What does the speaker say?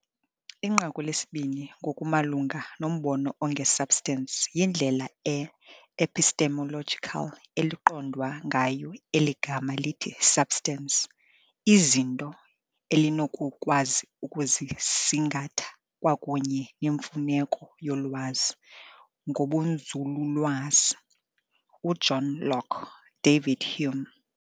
Inqaku lesibini ngokumalunga nombono onge-substance - yindlela e-epistemological eliqondwa ngayo eli gama lithi substance, iizinto elinokukwazi ukuzisingatha kwakunye nemfuneko yolwazi ngobunzululwazi, uJohn Locke, David Hume.